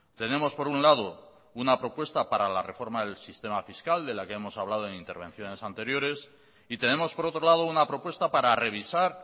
tenemos por un lado una propuesta para la reforma del sistema fiscal de la que hemos hablado en intervenciones anteriores y tenemos por otro lado una propuesta para revisar